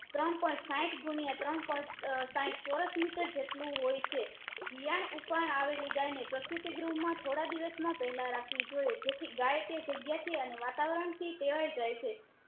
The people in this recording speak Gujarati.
ત્રણ point સાહીઠ ગુણ્યા ત્રણ point સાહીઠ ચોરસ મીટર જેટલું હોય છે વિયાણ ઉપર આવેલી ગાય ને પ્રસ્તુતિ ગૃહ થોડા દિવસ માં પેહેલા રાખવી જોઈએ જેથી ગાય તે જગ્યા થી વાતાવરણ થી ટેવાય છે